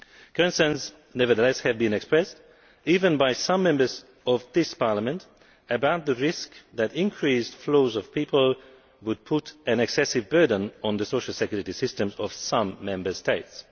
Concerns have nevertheless been expressed, even by some Members of this Parliament, about the risk that increased flows of people would put an excessive burden on the social security systems of some Member States.